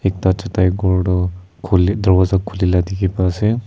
Ekta chatai ghor tuh Khuli dworja Khuli dekhe pa ase.